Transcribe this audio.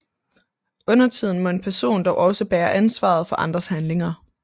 Undertiden må en person dog også bære ansvaret for andres handlinger